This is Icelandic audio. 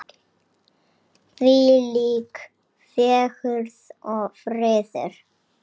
Þvílík fegurð og friður.